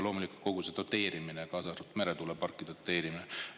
Loomulikult veel kogu see doteerimine, kaasa arvatud meretuuleparkide doteerimine.